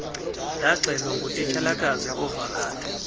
ndaxelwa ngutitshalakazi uvakade